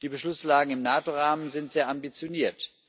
Die Beschlusslage im NATO Rahmen ist sehr ambitioniert.